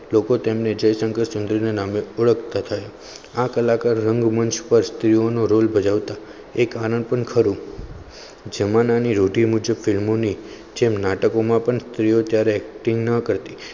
લોકો તેમને જયશંકર સુંદરીને નામે ઓળખતા થાય આ કલાકાર રંગમંચ પર સ્ત્રીઓનો રોલ બજાવતા એક આનંદ પણ ખરો જેમાં રોટી મુઝે ફિલ્મોની જેમ નાટકોમાં પણ clear ક્યારે acting ન કરતી